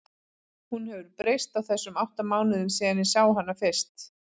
Hún hefur breyst á þessum átta mánuðum síðan ég sá hana fyrst.